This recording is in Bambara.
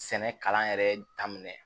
Sɛnɛ kalan yɛrɛ daminɛ